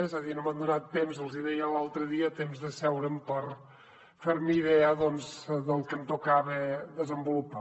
és a dir no m’han donat temps els hi deia l’altre dia d’asseure’m per fer me idea del que em tocava desenvolupar